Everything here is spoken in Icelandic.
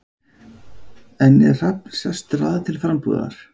En er Hrafn sestur að til frambúðar?